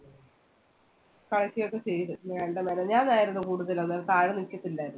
കളിക്ക ഒക്കെ ചെയ്തു വേണ്ട മിനിഞ്ഞാന്നായിരുന്നു കൂടുതല് അന്നേരം പാല് കുടിച്ചിട്ടില്ലായിരുന്നു.